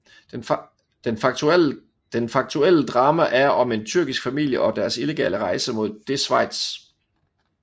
Den faktuelle drama er om en tyrkisk familie og deres illegale rejse mod det Schweiz